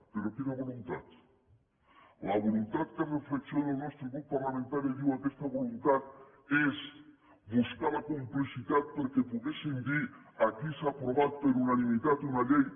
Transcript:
però quina voluntat la voluntat que reflexioni el nostre grup parlamentari diu aquesta voluntat és buscar la complicitat perquè poguéssim dir aquí s’ha aprovat per unanimitat una llei